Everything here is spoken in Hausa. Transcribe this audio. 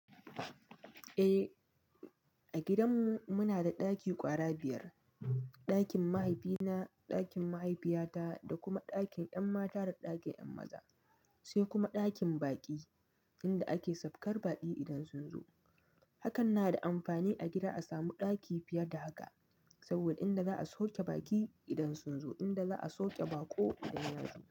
Eh, a gidan mu muna da ɗaki ƙwara biyar, ɗakin mahaifina, ɗakin mahaifiyata da kuma ɗakin 'yan mata da ɗakin 'yan maza, sai kuma ɗakin baƙi inda ake saukar baƙi idan sun zo. Hakan na da amfani a gida a samu ɗaki fiye da haka saboda inda za a sauke baƙi idan sun zo, inda za a sauke baƙo idan ya zo.